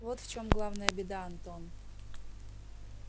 вот в чем главная беда антон